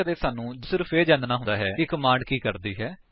ਸਾਨੂੰ ਸਿਰਫ ਇਹ ਜਾਨਣਾ ਹੁੰਦਾ ਹੈ ਕਿ ਕਮਾਂਡ ਕੀ ਕਰਦੀ ਹੈ